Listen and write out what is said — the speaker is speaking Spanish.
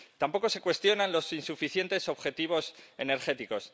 Tampoco se cuestionan los insuficientes objetivos energéticos.